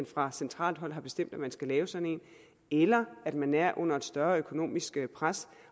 fra centralt hold er bestemt at man skal lave sådan en eller at man er under et større økonomisk pres